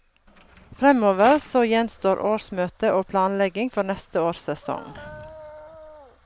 Framover så gjenstår årsmøte og planlegging for neste års sesong.